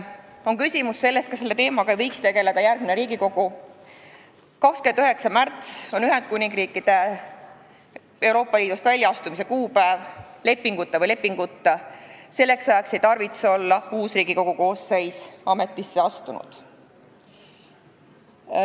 On küsitud, kas selle teemaga ei võiks tegelda järgmine Riigikogu, aga 29. märts on Ühendkuningriigi Euroopa Liidust väljaastumise kuupäev – lepinguga või lepinguta – ja selleks ajaks ei tarvitse uus Riigikogu koosseis olla veel ametisse astunud.